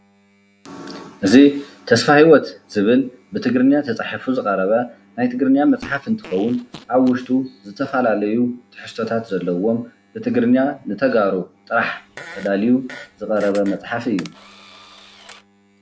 እዚ ተስፋ ሂዎት ዝብል ብትግርኛ ተፃሒፉ ዝቅረበ ናይ ትግሪኛ መፅሓፍ እንትከውን ኣብ ውሽጡ ዝተፈላለዩ ትሕዝቶታት ዘለዎም ብትግርኛ ንተጋሩ ጥራሕ ተዳልዩ ዝቀረበ መፅሓፍ እዩ።